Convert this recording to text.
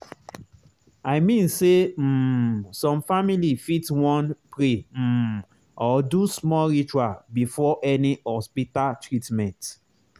i mean say um some family fit wan pray um or do small ritual before any hospita treatment